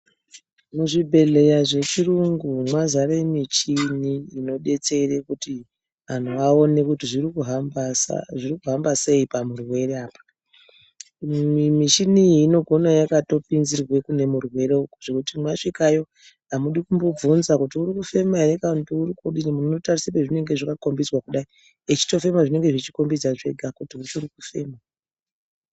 Muzvibhehleya zvechiyungu mwazare michini inodetsere kuti anhu kuti aone kuti zvirikuhamba sei pamuwiri apa. Michini iyi inogona yakatounzirwa kune murwere zvekuti mwasvikayo amudi kumbobvunza kuti uri kufema ere munotonase kuningira kwazvinenge zvakakombidzwa kudai. Echitofema zvinenge zvichikombidza zvega kuti uri kufema.